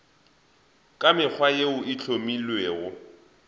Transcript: ka mekgwa yeo e hlomilwego